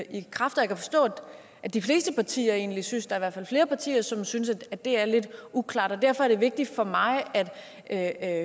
i kraft jeg kan forstå at de fleste partier egentlig synes der i hvert fald flere partier som synes at det er lidt uklart og derfor er det vigtigt for mig at